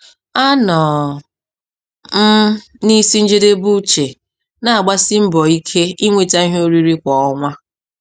Anọ m n'isi njedebe uche, na-agbasi mbọ ike inweta ihe oriri kwa ọnwa.